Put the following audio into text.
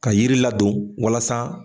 Ka yiri ladon walasa.